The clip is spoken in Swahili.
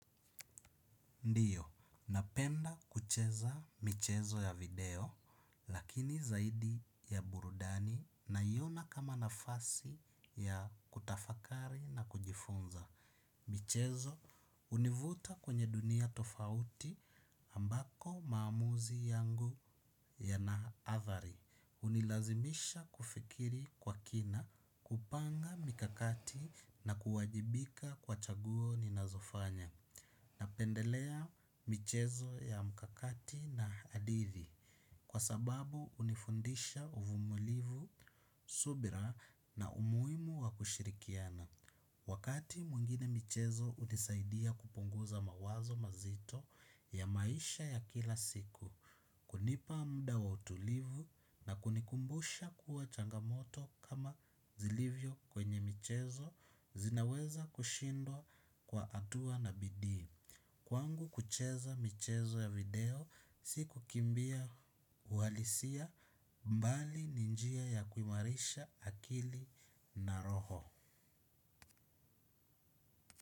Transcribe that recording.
Ndio, napenda kucheza michezo ya video, lakini zaidi ya burudani naiona kama nafasi ya kutafakari na kujifunza. Michezo, hunivuta kwenye dunia tofauti ambako maamuzi yangu yana athari. Hunilazimisha kufikiri kwa kina, kupanga mikakati na kuwajibika kwa chaguo ninazofanya. Napendelea michezo ya mkakati na hadithi kwa sababu hunifundisha uvumulivu, subira na umuhimu wa kushirikiana. Wakati mwingine michezo hunisaidia kupunguza mawazo mazito ya maisha ya kila siku, kunipa mda wa utulivu na kunikumbusha kuwa changamoto kama zilivyo kwenye michezo zinaweza kushindwa kwa hatua na bidii. Kwangu kucheza michezo ya video si kukimbia uhalisia mbali ni njia ya kuimarisha akili na roho.